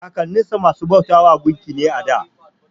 Kakanninsa masu bautan gunki ne a da.